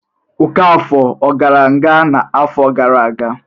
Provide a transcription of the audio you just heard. Ọkafọ ọ gara nga n'afọ gara aga?